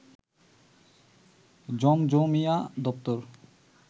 জমজমিয়া দপ্তর